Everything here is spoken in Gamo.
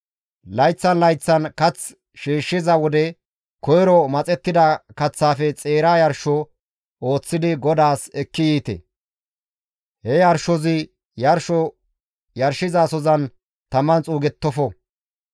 Layththan layththan kath shiishshiza wode koyro maxettida kaththaafe xeera yarsho ooththidi GODAAS ekki yiite; he yarshozi yarsho yarshizasozan taman xuugettofo.